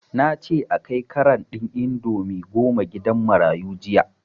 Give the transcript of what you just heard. Nace a kai karan ɗin indomie goma gidan marayu jiya